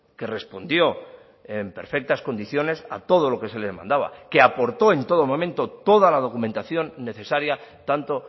que respondió en perfectas condiciones a todo lo que se le mandaba que aportó en todo momento toda la documentación necesaria tanto